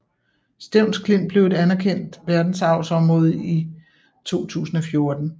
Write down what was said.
Stevns Klint blev et anerkendt som verdensarvsområde ti 2014